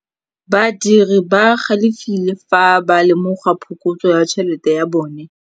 Badiri ba galefile fa ba lemoga phokotsô ya tšhelête ya bone.